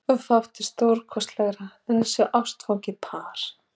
Fátt er stórkostlegra en að sjá ástfangið par.